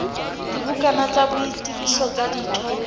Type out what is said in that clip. dibukana tsa boitsebiso tsa ditho